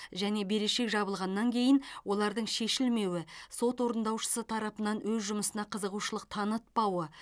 және берешек жабылғаннан кейін олардың шешілмеуі сот орындаушысы тарапынан өз жұмысына қызығушылық танытпауы